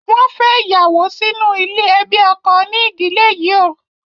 Wọn fè ìyàwó sínú ilé ẹbí ọkọ ní ìdílè yíò